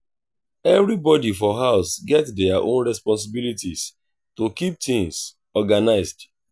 everybody for house get their own responsibilities to keep things organized.